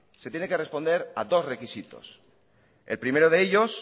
se tiene que responder a dos requisitos el primero de ellos